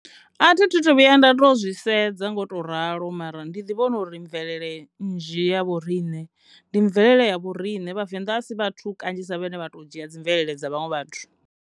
A thi tu to vhuya nda to zwi sedza nga u ralo mara ndi ḓi vhona uri mvelele nnzhi ya vho rine ndi mvelele ya vho rine vhavenḓa a si vhathu kanzhisa vhane vha to dzhia dzi mvelele dza vhaṅwe vhathu.